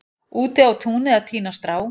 úti á túni að tína strá